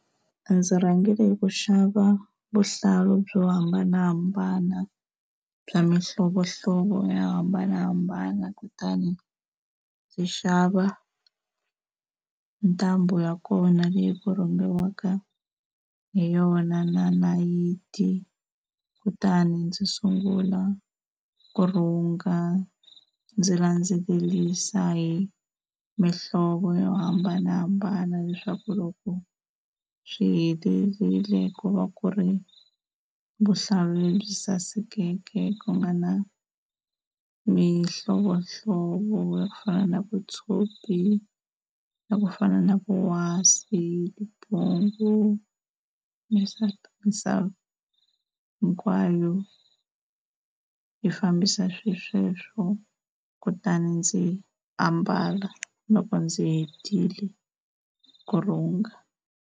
Ndzi rhangile hi ku xava vuhlalu byo hambanahambana bya mihlovohlovo yo hambanahambana kutani ndzi xava ni ntambu ya kona leyi ku rhungiwaka hi yona na nayiti, kutani ndzi sungula ku rhunga ndzi landzelelisa hi mihlovo yo hambanahambana leswaku loko swi helerile ku va ku ri vuhlalu lebyi sasekeke ku nga na mihlovohlovo yo fana na vutshopi, ya ku fana na vuwasi, vumpungu, hinkwayo yi fambisisa swesweswo. Kutani ndzi ambala loko ndzi hetile ku rhunga.